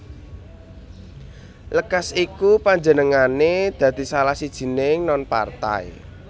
Lekas iku panjenengané dadi salah sijining non partai